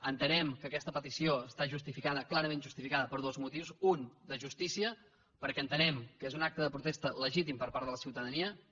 entenem que aquesta petició està justificada clarament justificada per dos motius un de justícia perquè entenem que és un acte de protesta legítim per part de la ciutadania que